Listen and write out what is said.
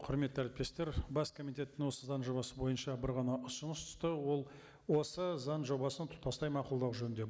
құрметті әріптестер бас комитеттен осы заң жобасы бойынша бір ғана ұсыныс түсті ол осы заң жобасын тұтастай мақұлдау жөнінде